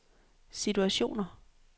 situationer